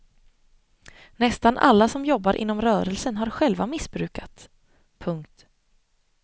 Nästan alla som jobbar inom rörelsen har själva missbrukat. punkt